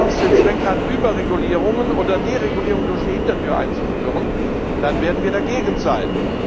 Wenn das allerdings den Zweck hat, Überregulierungen oder Deregulierungen durch die Hintertür einzuführen, dann werden wir dagegen sein.